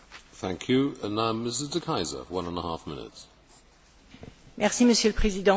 Monsieur le Président, l'article 13 de l'accord de Cotonou n'a pas été révisé depuis